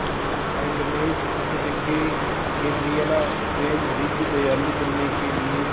kindness विशेषज्ञ Gabriela van Rij दयालु बनने के लिए